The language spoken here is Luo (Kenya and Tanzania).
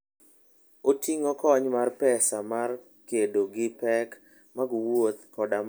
Oting'o kony mar pesa mar kedo gi pek mag wuoth koda mar dok chien.